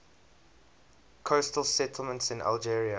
coastal settlements in algeria